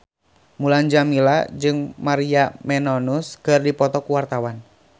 Mulan Jameela jeung Maria Menounos keur dipoto ku wartawan